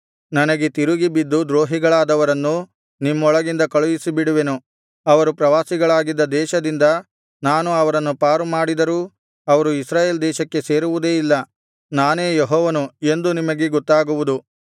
ನನಗೆ ತಿರುಗಿ ಬಿದ್ದು ದ್ರೋಹಿಗಳಾದವರನ್ನು ನಿಮ್ಮೊಳಗಿಂದ ಕಳುಹಿಸಿ ಬಿಡುವೆನು ಅವರು ಪ್ರವಾಸಿಗಳಾಗಿದ್ದ ದೇಶದಿಂದ ನಾನು ಅವರನ್ನು ಪಾರು ಮಾಡಿದರೂ ಅವರು ಇಸ್ರಾಯೇಲ್ ದೇಶಕ್ಕೆ ಸೇರುವುದೇ ಇಲ್ಲ ನಾನೇ ಯೆಹೋವನು ಎಂದು ನಿಮಗೆ ಗೊತ್ತಾಗುವುದು